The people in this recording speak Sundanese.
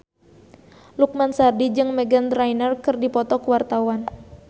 Lukman Sardi jeung Meghan Trainor keur dipoto ku wartawan